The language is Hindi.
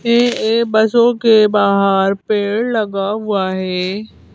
ये एक बसो के बाहर पेड़ लगा हुआ है।